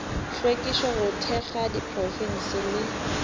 hlwekišo go thekga diprofense le